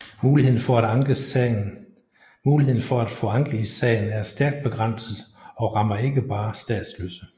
Muligheden for at få anke i sagen er stærkt begrænset og rammer ikke bare statsløse